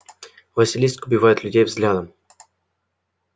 василиск убивает людей взглядом